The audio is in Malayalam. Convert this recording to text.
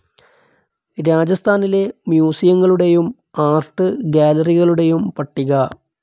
രാജസ്ഥാനിലെ മ്യൂസിയങ്ങളുടെയും ആർട്ട്‌ ഗാലറികളുടെയും പട്ടിക